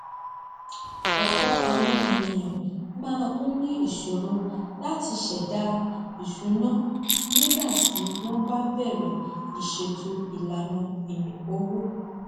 ọpọ àwọn èyàn máa ń ní ìṣòro láti sẹdá ìsúná nígbà tí wọn bá bẹrẹ ìṣètò ìlànà owó